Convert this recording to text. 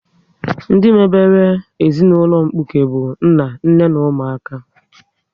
Ndị mebere ezinaụlọ mkpuke bụ nna, nne na ụmụaka